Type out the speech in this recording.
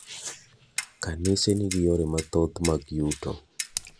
Kanise ni gi yore mathoth mag yuto.